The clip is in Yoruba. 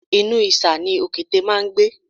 Inú ìṣà ni òkété máá ń gbé